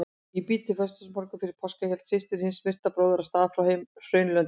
Í bítið föstudagsmorgunn fyrir páska hélt systir hins myrta bróður af stað frá Hraunlöndum.